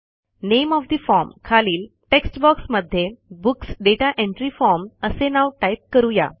name of the form खालील text box मध्ये books data entry form असे नाव टाईप करू या